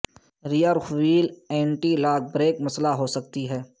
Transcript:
rear wheel anti lock brake مسئلہ ہو سکتی ہے